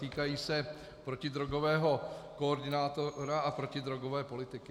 Týkají se protidrogového koordinátora a protidrogové politiky.